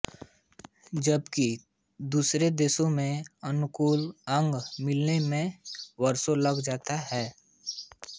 जबकि दूसरे देशों में अनुकूल अंग मिलने में वर्षों लग जाते हैं